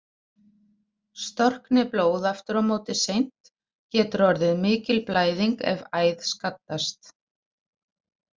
Storkni blóð aftur á móti seint getur orðið mikil blæðing ef æð skaddast.